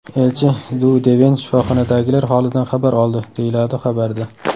Elchi Du Deven shifoxonadagilar holidan xabar oldi”, deyiladi xabarda.